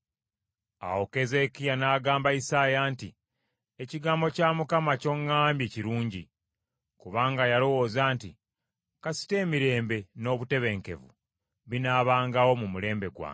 Awo Keezeekiya n’agamba Isaaya nti, “Ekigambo kya Mukama ky’oŋŋambye kirungi.” Kubanga yalowooza nti, “Kasita emirembe, n’obutebenkevu binaabangawo mu mulembe gwange.”